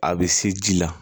A bɛ se ji la